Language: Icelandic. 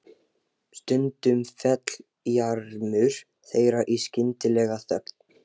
Stundum féll jarmur þeirra í skyndilega þögn.